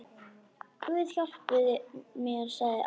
Guð hjálpi mér, sagði amma.